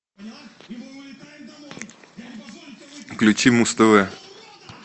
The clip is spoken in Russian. включи муз тв